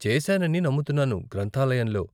చేశానని నమ్ముతున్నాను, గ్రంథాలయంలో .